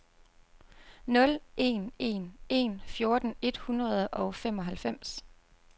nul en en en fjorten et hundrede og femoghalvfems